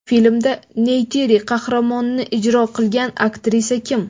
Filmda Neytiri qahramonini ijro qilgan aktrisa kim?